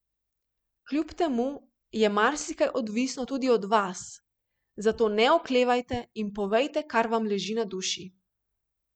Kljub temu je marsikaj odvisno tudi od vas, zato ne oklevajte in povejte kar vam leži na duši.